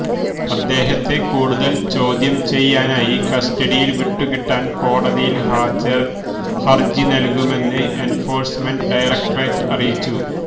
അദ്ദേഹത്തെ കൂടുതല് ചോദ്യം ചെയ്യാനായി കസ്റ്റഡിയില് വിട്ടുകിട്ടാന് കോടതിയില് ഹരജി നല്കുമെന്ന് എന്ഫോഴ്സ്മെന്റ് ഡയരക്ടറേറ്റ് അറിയിച്ചു